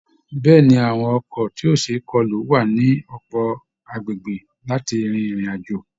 Bẹ́ẹ̀ ni, àwọn ọkọ̀ tí ó ṣe é kọlù wà ní ọ̀pọ̀ agbègbè láti rin ìrìn àjò